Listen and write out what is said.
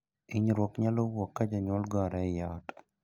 Hinyruok nyalo wuok ka jonyuol gore ei ot.